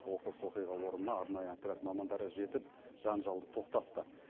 оқыс оқиға орнына арнайы отряд мамандары жетіп жанжалды тоқтатты